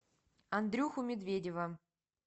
андрюху медведева